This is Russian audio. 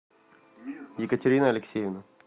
екатерина алексеевна